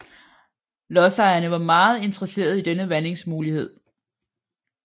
Lodsejerne var meget interesserede i denne vandingsmulighed